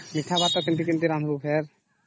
ମିଠା ଭାତ କେମିତି କେମିତି ରାନ୍ଧୁ ସେ